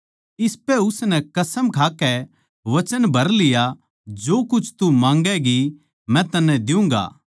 इसपै उसनै कसम खाकै वचन भर लिया जो कुछ तू माँगैगी मै तन्नै दियुँगा